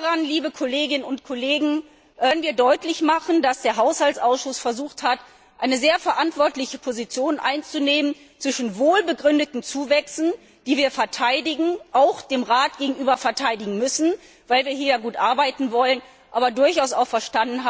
Daran, liebe Kolleginnen und Kollegen, können wir deutlich machen, dass der Haushaltsausschuss versucht hat, eine sehr verantwortungsvolle Position einzunehmen zwischen wohlbegründeten Zuwächsen, die wir verteidigen, auch dem Rat gegenüber verteidigen müssen, weil wir hier ja gut arbeiten wollen, und dem Verständnis,